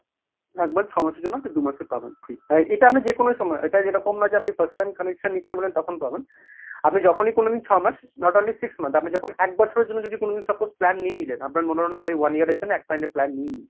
ছ'মাসের জন্য দু'মাসের পাবেন free এটা আপনি যে কোনো সময় এটা এরকম নয় যে আপনি first time connection নিচ্ছেন ma'am তখন পাবেন আপনি যখনি করবেন ছমাস not only six month, আপনি যখন এক বছরের জন্য যদি suppose কোন plan নিয়ে নিলেন আপনার মনে হলো one year জন্য এক ধরণের plan নিই নি।